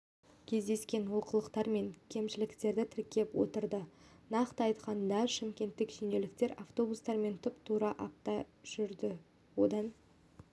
кездескен олқылықтар мен кемшіліктерді тіркеп отырды нақты айтқанда шымкенттік шенеуніктер автобустармен тұп-тура апта жүрді одан